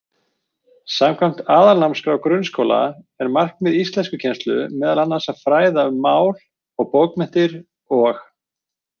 Samkvæmt Aðalnámskrá grunnskóla er markmið íslenskukennslu meðal annars að fræða um mál og bókmenntir og.